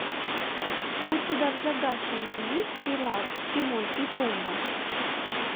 у тебя в загашнике есть сериал тимон и пумба